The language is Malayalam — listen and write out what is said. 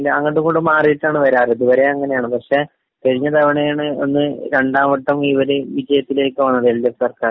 ജയിച്ചിട്ടുണ്ടെങ്കില്.. അങ്ങോട്ടുമിങ്ങോട്ടും മാറിയിട്ടാണ് വരാറ്..ഇതുവരെ അങ്ങനെയാണ്, പക്ഷേ കഴിഞ്ഞതവണയാണ് ഒന്ന്..ഇവര് രണ്ടാംവട്ടം വിജയത്തിലേക്കു പോണത്, എൽ.ഡി.എഫ്.സർക്കാര്...